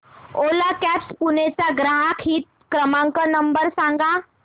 ओला cabs Pune चा ग्राहक हित क्रमांक नंबर सांगा